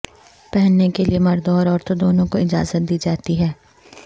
پہننے کے لئے مردوں اور عورتوں دونوں کو اجازت دی جاتی ہے